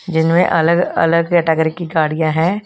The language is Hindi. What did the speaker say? जिनमें अलग अलग कैंटगरी की गाड़ियां है।